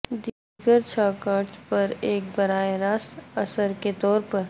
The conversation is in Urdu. دیگر چھ کارڈز پر ایک براہ راست اثر کے طور پر